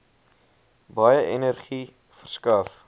baie energie verskaf